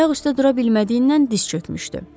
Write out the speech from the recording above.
Ayaq üstə dura bilmədiyindən diz çökmüşdü.